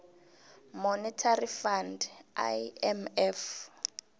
monetary fund imf